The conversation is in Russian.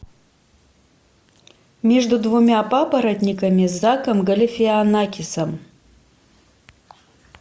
между двумя папоротниками с заком галифианакисом